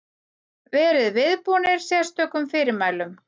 Verið viðbúnir sérstökum fyrirmælum.